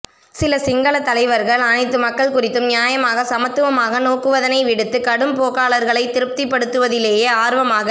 சில சிங்கள தலைவர்கள் அனைத்து மக்கள் குறித்தும் நியாயமாக சமத்துவமாக நோக்குவதனை விடுத்து கடும்போக்காளர்களை திருப்திபடுத்துவதிலேயே ஆர்வமாக